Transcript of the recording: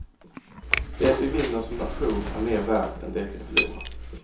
Det vi vinner som nation är mer värt än det vi förlorar.